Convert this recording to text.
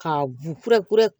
K'a bu kura kura